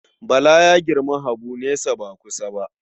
Bala ya girmi Habu nesa ba kusa ba.